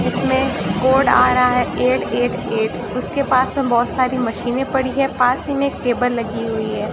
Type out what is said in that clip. जिसमें कोड आ रहा है एट एट एट उसके पास में बहुत सारी मशीनें पड़ी है पास ही में एक टेबल लगी हुई है।